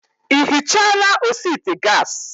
Ị ihichala osi ite gas?